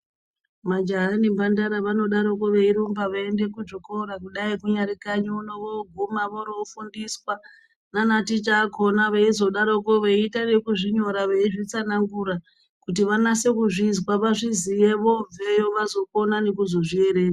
Majaha nemhandara vanodaroko veironga veienda kuzvikora kudaiko kunyari kanyi uno vorofundiswa Ticha akaona veita wekuzvinyora veizvitsanangura vanase kuzvinzwa vazviziye vobveyo vazokona nekuzvierenga.